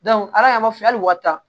ala y'a fɔ hali wari ta